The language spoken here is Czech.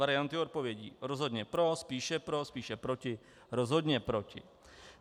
Varianty odpovědí: rozhodně pro, spíše pro, spíše proti, rozhodně proti.